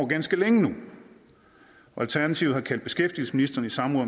ganske længe nu og alternativet har kaldt beskæftigelsesministeren i samråd